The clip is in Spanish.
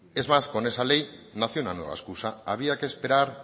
es más con esa ley nació una nueva excusa había que esperar